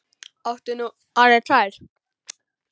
Áttu nú orðið tvær?